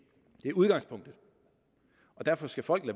er udgangspunkt og derfor skal folk